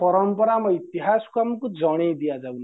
ପରମ୍ପରା ଆମ ଇତିହାସକୁ ଆମକୁ ଜଣେଇ ଦିଅ ଯାଉନି